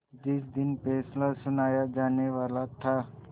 जिस दिन फैसला सुनाया जानेवाला था